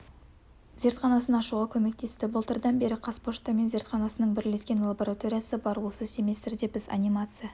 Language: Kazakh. зертханасын ашуға көмектесті былтырдан бері қазпошта мен зертханасының бірлескен лабораториясы бар осы семестрде біз анимация